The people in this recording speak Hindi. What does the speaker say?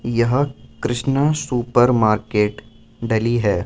यह कृष्णा सुपर मार्केट डली है।